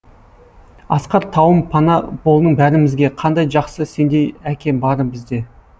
асқар тауым пана болдың бәрімізге қандай жақсы сендей әке бары бізде